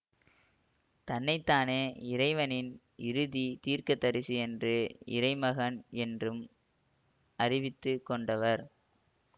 தன்னை தானே இறைவனின் இறுதி தீர்க்கதரிசி என்று இறைமகன் என்றும் அறிவித்து கொண்டவர்